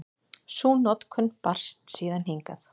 Sú notkun barst síðan hingað.